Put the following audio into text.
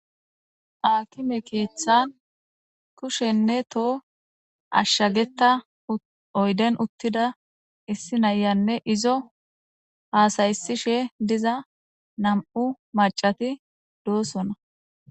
akime keeththan kushenne too ashshageta oyden uttida issi nayanne izo haasaysishe diza nam7u macati doosona